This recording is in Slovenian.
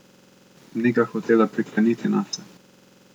Ni ga hotela prikleniti nase.